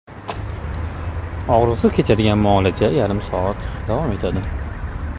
Og‘riqsiz kechadigan muolaja yarim soat davom etadi.